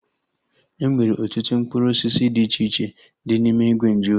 Enwere ọtụtụ mkpụrụ osisi dị iche iche dị n'ime ìgwè nju oyi